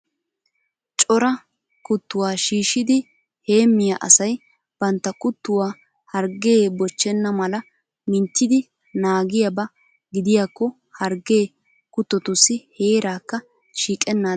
Cora kuttuwaa shiishidi heemmiyaa asay bantta kuttuwaa hargee bochchenna mala minttidi naagiyaaba gidiyaakko hargee kuttotussi heeraakka shiiqennaadan keehippe maaddes .